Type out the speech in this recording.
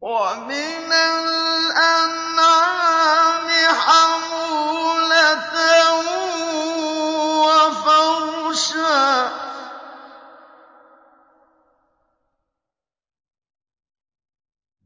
وَمِنَ الْأَنْعَامِ حَمُولَةً وَفَرْشًا ۚ